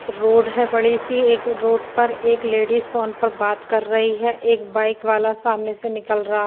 Road है बड़ी सी एक रोड पर एक लेडिज फ़ोन पे बात कर रही है एक बाइक वाला सामने से निकल रहा है।